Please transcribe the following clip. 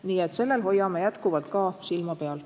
Nii et hoiame sellelgi teemal jätkuvalt silma peal.